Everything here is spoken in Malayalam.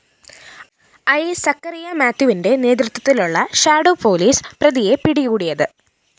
ഐ സക്കറിയ മാത്യുവിന്റെ നേതൃത്വത്തിലുള്ള ഷാഡോ പൊലീസ് പ്രതിയെ പിടികൂടിയത്